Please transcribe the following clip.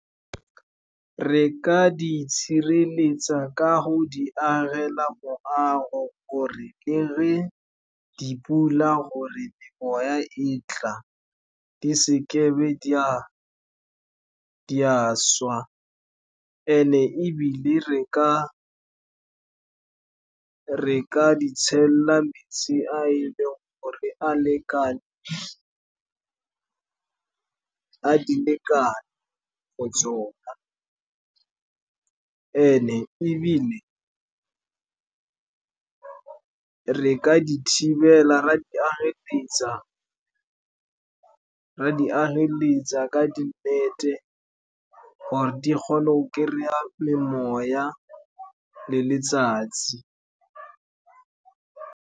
Re ka di sireletsa ka go di agela moago, gore le ge dipula or-e memoya e tla, di se ke di a swa. And-e ebile re ka di tshella metsi a e leng gore a di lekane for tsona. And-e ebile re ka di ageletsa ka nnete gore di kgone go kry-a memoya le letsatsi.